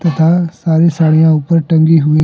तथा सारी साड़िया ऊपर टंगी हुई--